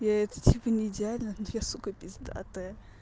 я это типа не идеальная но я сука пиздатая